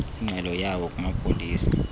ingxelo yawo kumapolisa